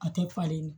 A tɛ falen